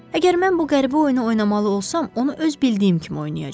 Əgər mən bu qəribə oyunu oynamalı olsam, onu öz bildiyim kimi oynayacağam.